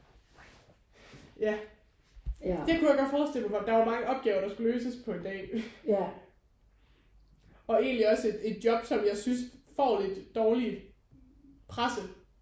Ja det kunne jeg godt forestille mig der er jo mange opgaver der skal løses på en dag. Og egentlig også et et job som jeg synes får lidt dårlig presse